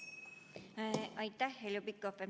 Aitäh, Heljo Pikhof!